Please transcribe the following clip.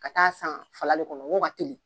Ka taa san fala le kɔnɔ wa n ko ka teli.